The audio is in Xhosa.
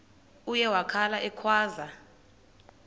uye wakhala ekhwaza